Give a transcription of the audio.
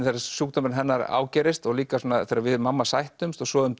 þegar sjúkdómurinn hennar ágerist og líka svona þegar við mamma sættumst og svo um